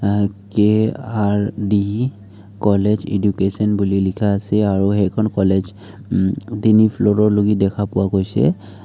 অ K R D college education বুলি লিখা আছে আৰু সেইখন কলেজ উম তিনি ফ্লুৰ'লৈকে দেখা পোৱা গৈছে।